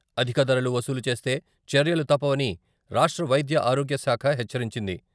అధిక ధరలు వసూలు చేస్తే చర్యలు తప్పవని రాష్ట్ర వైద్య, ఆరోగ్యశాఖ హెచ్చరించింది.